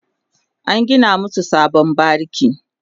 an gina masu sabon bariki